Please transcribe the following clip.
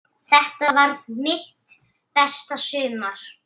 Þetta varð mitt besta sumar.